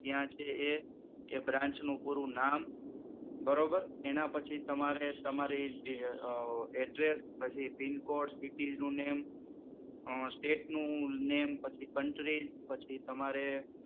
ક્યાં છે એ, એ branch નું પૂરું નામ બરોબર એના પછી તમારે તમારી જે address, PIN code, city નું name, state નું name પછી country